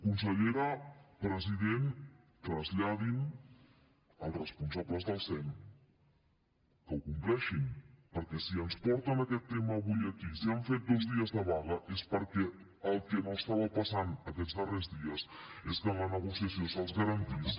consellera president traslladin als responsables del sem que ho compleixen perquè si ens porten aquest tema avui aquí si han fet dos dies de vaga és perquè el que no estava passant aquests darrers dies és que en la negociació se’ls garantís